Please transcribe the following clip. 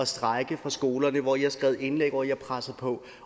strejket på skolerne hvor i har skrevet indlæg og hvor i har presset på